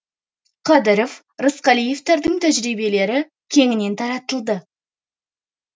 қадыров рысқалиевтардың тәжірибелері кеңінен таратылды